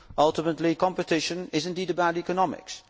ultimately competition is about economics.